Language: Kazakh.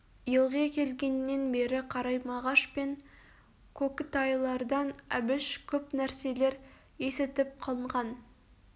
елғе келгеннен бері қарай мағаш пен кокітайлардан әбіш көп нәрселер есітіп қанған